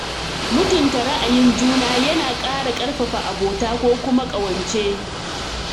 Mutunta ra'ayin juna yana ƙara ƙarfafa abota ko kuma ƙawance.